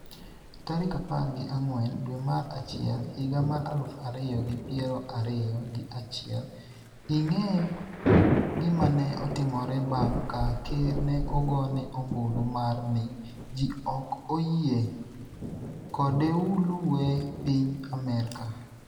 tarik apar gi ang'wen dwe mar achiel higa mar aluf ariyo gi piero ariyo gi achiel ing'e gimane otimore bang' ka ker ne ogone ombulu mar ni ji ok oyie kodeulue piny Amerka